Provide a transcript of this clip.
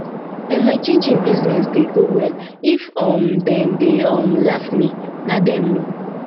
um my chin chin chin business dey go well if um dem dey um laugh me na dem know